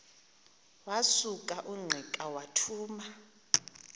wasuka ungqika wathuma